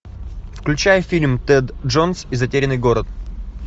включай фильм тэд джонс и затерянный город